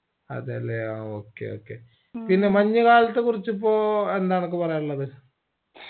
അതല്ലേ ആ okay okay പിന്നെ മഞ്ഞുകാലത്ത് കുറച്ച് ഇപ്പൊ എന്താ അനക്ക് പറയാനുള്ളത്